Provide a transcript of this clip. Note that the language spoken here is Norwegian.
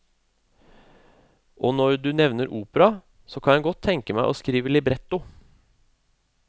Og når du nevner opera, så kan jeg godt tenke meg å skrive libretto.